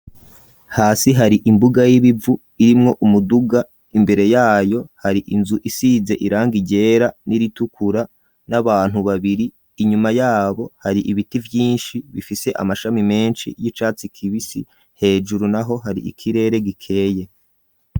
Hasi hari imbuga y'ibivu, irimwo umuduga; imbere yayo, hari inzu, isize irangi ryera, n'iritukura, n'abantu babiri; inyuma y'abo, hari ibiti vyinshi, bifise amashami menshi, y'icatsi kibisi; hejuru naho, hari ikirere gikeye.